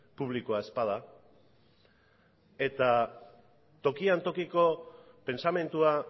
publikoa ez bada eta tokian tokiko pentsamendua